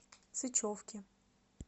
сычевки